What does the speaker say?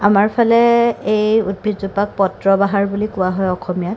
আমাৰ ফালে এই উদ্ভিদ জোপাক পত্ৰ বাহাৰ বুলি কোৱা হয় অখমীয়াত ।